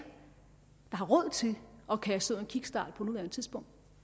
har råd til at kaste i en kickstart på nuværende tidspunkt